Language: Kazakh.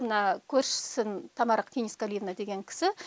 мына көршісін тамара кеңесқалиевна деген кісі